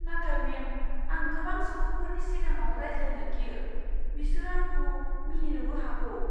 नाथाय मेम, आं गोबां सुबुंफोरनि सिगाङाव रायज्लायनो गियो। बिसोरो आंखौ मिनिनोबो हागौ।